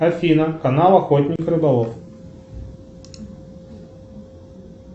афина канал охотник и рыболов